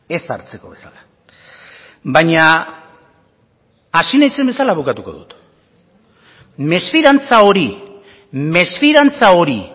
ez hartzeko bezala baina hasi naizen bezala bukatuko dut mesfidantza hori mesfidantza hori